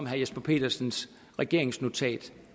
herre jesper petersens regeringsnotat